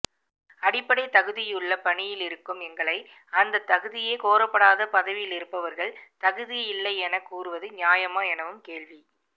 அடிப்படைத்தகுதியுள்ள பணியிலிருக்கும் எங்களை அந்த தகுதியே கோரப்படாத பதவியிலிருப்பவர்கள் தகுதியில்லை என கூறுவது நியாயமா எனவும் கேள்வி